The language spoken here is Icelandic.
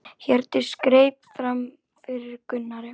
Hjördís greip fram í fyrir Gunnari.